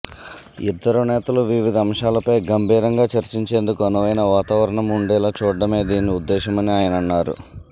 ఇద్దరు నేతలూ వివిధ అంశాలపై గంభీరంగా చర్చించేందుకు అనువైన వాతావరణం ఉండేలా చూడడమే దీని ఉద్దేశమని ఆయనన్నారు